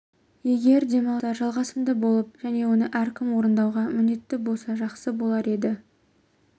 егер демалыстар жалғасымды болып және оны әркім орындауға міндетті болса жақсы болар еді